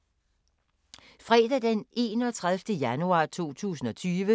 Fredag d. 31. januar 2020